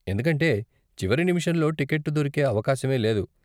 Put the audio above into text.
ఎందుకంటే చివరి నిముషంలో టికెట్టు దొరికే అవకాశమే లేదు.